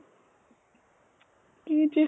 কি যে